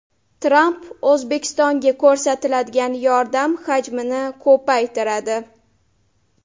Tramp O‘zbekistonga ko‘rsatiladigan yordam hajmini ko‘paytiradi.